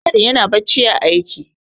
Maigadi yana bacci ã aiki.